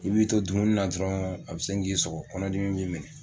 I b'i to dumuni na dɔrɔn a bɛ sin k'i sɔgɔ kɔnɔdimi b'i minɛ